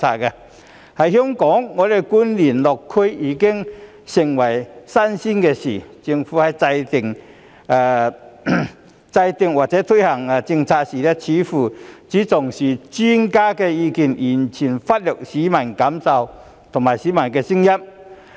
在香港，官員落區已經成為新鮮事，政府在制訂或推行政策的時候，似乎只重視專家的意見，完全忽略市民的感受和聲音。